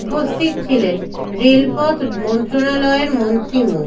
উপস্থিত ছিলেন রেলপথ মন্ত্রণালয়ের মন্ত্রী মো